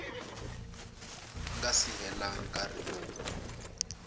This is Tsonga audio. nga si hela nkarhi lowu